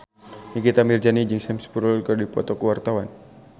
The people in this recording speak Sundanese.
Nikita Mirzani jeung Sam Spruell keur dipoto ku wartawan